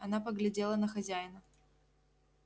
она поглядела на хозяина